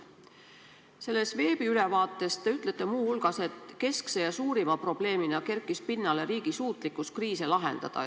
Selles veebiülevaates te ütlete muu hulgas, et keskse ja suurima probleemina kerkis pinnale riigi suutlikkus kriise lahendada.